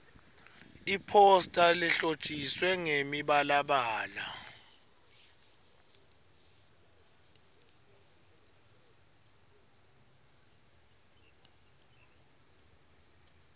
iphosta lehlotjiswe ngemibalabala